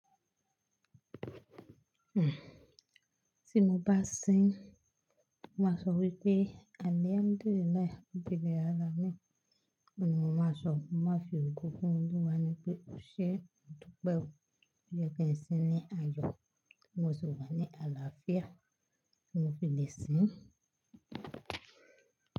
Ti mo bá sin, mo máa sọ wípé àlhamdullilahi robil Aláàmín. Òun ni mo máa sọ, mo máa fi ògo fún olúwa ní pé o ṣe é, mo dupe o tó yẹ kí ń sin ní àyọ, tí mo sì wà ní àlàáfíà tí mo fi lè sin.